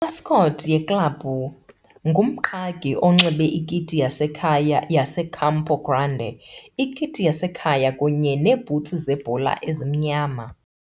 Imascot yeklabhu ngumqhagi onxibe ikiti yasekhaya yaseCampo Grande ikiti yasekhaya kunye neebhutsi zebhola ezimnyama.